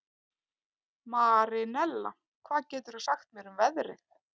Marinella, hvað geturðu sagt mér um veðrið?